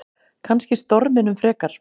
Kannski storminum frekar.